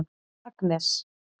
Agnes